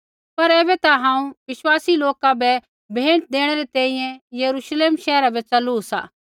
पर ऐबै ता हांऊँ विश्वासी लोका बै भेंट देणै री तैंईंयैं यरूश्लेम शैहरा बै च़लू सा